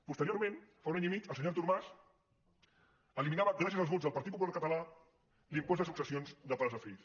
posteriorment fa un any i mig el senyor artur mas eliminava gràcies als vots del partit popular català l’impost de successions de pares a fills